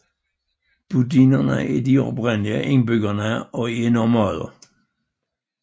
Budinerne er de oprindelige indbyggere og er nomadeer